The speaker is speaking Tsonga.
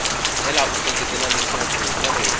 tlhela u seketela leswaku hikokwalaho